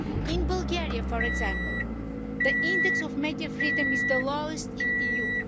In Bulgaria, for example, the index of media freedom is the lowest in the EU.